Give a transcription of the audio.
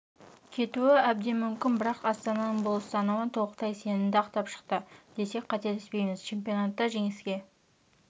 кетуі әбден мүмкін бірақ астананың бұл ұстанымы толықтай сенімді ақтап шықты десек қателеспейміз чемпионатта жеңіске